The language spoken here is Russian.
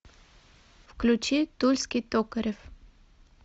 включи тульский токарев